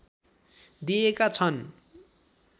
दिएका छन्